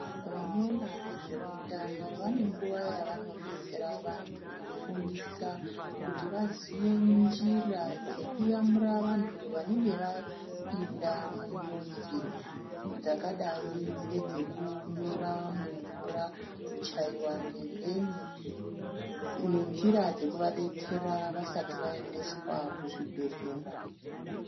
Vanoona ngezveutano vane nguwa yavanodetsera vanthu kufundisa kuti vaone njira dzekuyamura vanthu vanenge vapinda munjodzi dzakadai ngedzekunyura mumvura kuchaiwa ngembeni ngenjira dzekuvadetsera vasati vaendeswa kuzvibhedhlera.